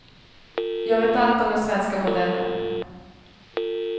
Jag vet allt om den svenska modellen.